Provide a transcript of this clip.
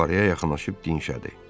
Buxarıya yaxınlaşıb dinşədi.